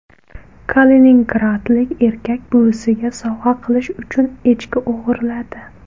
Kaliningradlik erkak buvisiga sovg‘a qilish uchun echki o‘g‘irladi.